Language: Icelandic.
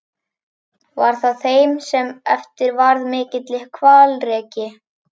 Var það þeim sem eftir varð mikill hvalreki.